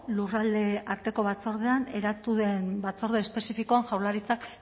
lurralde arteko batzordean eratu den batzorde espezifikoan jaurlaritzak